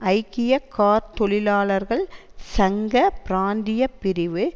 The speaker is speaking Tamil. ஐக்கிய கார் தொழிலாளர்கள் சங்க பிராந்திய பிரிவு